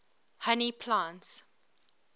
honey plants